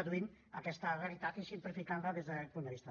reduint aquesta realitat i simplificant la des d’aquest punt de vista